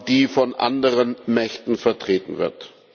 die von anderen Mächten vertreten wird.